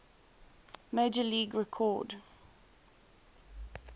major league record